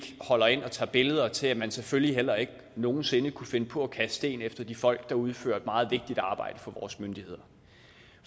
holder ind og tager billeder og til at man selvfølgelig heller ikke nogen sinde kunne finde på at kaste sten efter de folk der udfører et meget vigtigt stykke arbejde for vores myndigheder